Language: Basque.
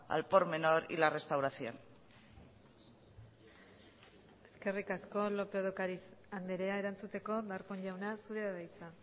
al por menor y la restauración eskerrik asko lópez de ocariz andrea erantzuteko darpón jauna zurea da hitza